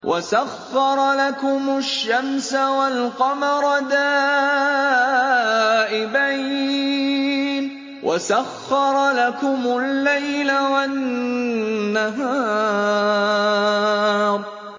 وَسَخَّرَ لَكُمُ الشَّمْسَ وَالْقَمَرَ دَائِبَيْنِ ۖ وَسَخَّرَ لَكُمُ اللَّيْلَ وَالنَّهَارَ